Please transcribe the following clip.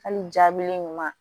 Hali jaabilen ɲuman